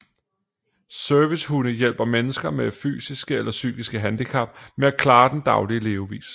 Servicehunde hjælper mennesker med et fysisk eller psykisk handicap med at klare den daglige levevis